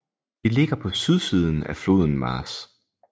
Det ligger på sydsiden af floden Mass